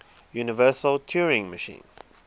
universal turing machine